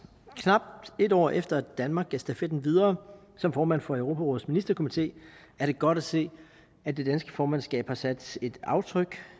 knap et år efter at danmark gav stafetten videre som formand for europarådets ministerkomité er det godt at se at det danske formandskab har sat et aftryk